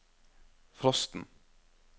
frosten